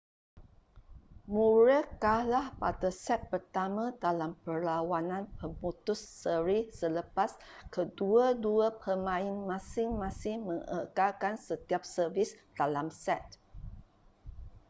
murray kalah pada set pertama dalam perlawanan pemutus seri selepas kedua-dua pemain masing-masing mengekalkan setiap servis dalam set